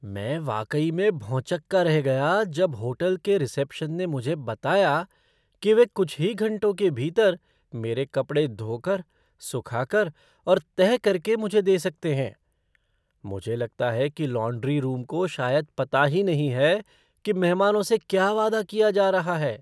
मैं वाकई में भौंचक्का रह गया जब होटल के रिसेप्शन ने मुझे बताया कि वे कुछ ही घंटों के भीतर मेरे कपड़े धो कर, सुखा कर और तह करके मुझे दे सकते हैं। मुझे लगता है कि लॉन्ड्री रूम को शायद पता ही नहीं है कि मेहमानों से क्या वादा किया जा रहा है!